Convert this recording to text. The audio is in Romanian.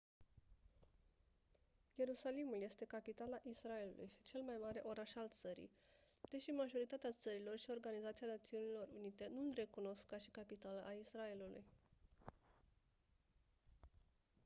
ierusalimul este capitala israelului și cel mai mare oraș al țării deși majoritatea țărilor și organizația națiunilor unite nu îl recunosc ca și capitală a israelului